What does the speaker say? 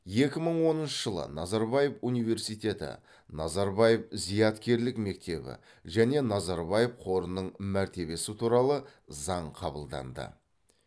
екі мың оныншы жылы назарбаев университеті назарбаев зияткерлік мектебі және назарбаев қорының мәртебесі туралы заң қабылданды